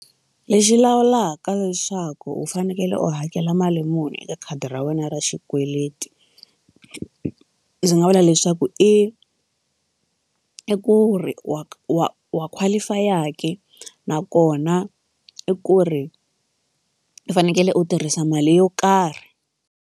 Lexi lawulaka leswaku u fanekele u hakela mali muni eka khadi ra wena ra xikweleti ndzi nga vula leswaku i i ku ri wa wa wa qualify ke nakona i ku ri u fanekele u tirhisa mali yo karhi.